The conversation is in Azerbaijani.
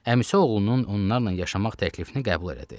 Əmisi oğlunun onlarla yaşamaq təklifini qəbul elədi.